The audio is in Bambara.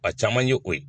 A caman ye o ye